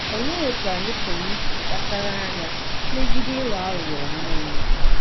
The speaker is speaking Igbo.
Olee otú anyị pụrụ isi kpachara anya megide ịghọ aghụghọ onwe onye?